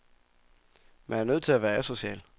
Man er nødt til at være asocial.